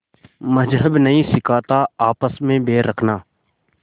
मज़्हब नहीं सिखाता आपस में बैर रखना